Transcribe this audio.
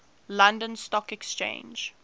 london stock exchange